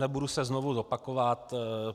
Nebudu se znovu opakovat.